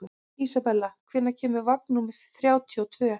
Isabella, hvenær kemur vagn númer þrjátíu og tvö?